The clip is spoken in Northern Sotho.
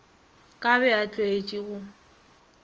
ka be a tlwaetše go